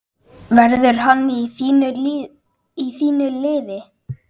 Verður hann í þínu liði?